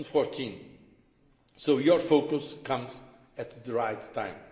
2014. So your focus comes at the right time.